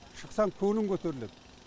шықсаң көңілің көтеріледі